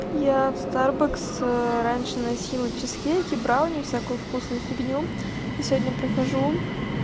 я в старбакс раньше носила чизкейк брауни всякую вкусную фигню и сегодня прихожу